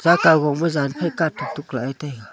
ka khoma jan phai katuk tuk lah e taiga.